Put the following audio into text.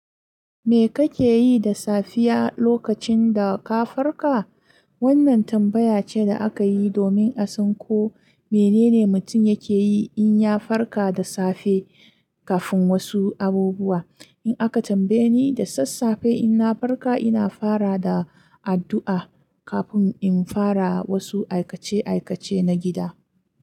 Me kake yi da safiya lokacin da ka farka? Wannan tambaya ce da aka yi domin a san ko menene mutum yake yi in ya farka da safe kafin wasu abubuwa. In aka tambaye ni da sassafe in na farka, ina fara da addu'a kafin in fara wasu aikace-aikace na gida.